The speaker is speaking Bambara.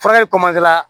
Fara ne la